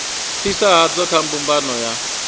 fhasi hadzo kha mbumbano ya